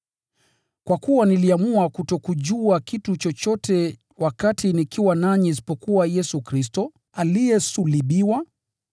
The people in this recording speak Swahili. Kwa kuwa niliamua kutokujua kitu chochote wakati nikiwa nanyi isipokuwa Yesu Kristo aliyesulubiwa.